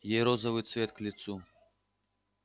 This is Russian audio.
ей розовый цвет к лицу